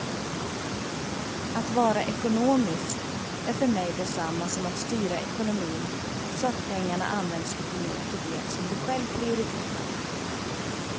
Att vara ekonomisk är för mig detsamma som att styra ekonomin så att pengarna används lite mer till det som du själv prioriterar.